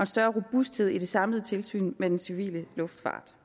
større robusthed i det samlede tilsyn med den civile luftfart